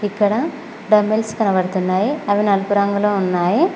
ఇక్కడ డంబెల్స్ కనబడుతున్నాయి అవి నలుపు రంగులో ఉన్నాయి.